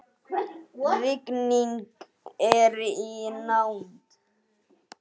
Rigning er í nánd.